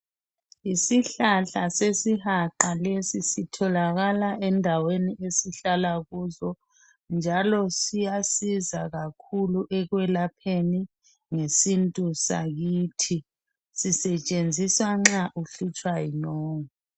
Isihlahla sesihaqa lesi sitholakala endaweni esihlala kuzo njalo siyasiza kakhulu ekwelapheni ngesintu sakithi. Sisetshenziswa nxa uhlutshwa yinyongo.